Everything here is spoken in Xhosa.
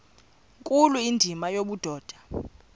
nkulu indima yobudoda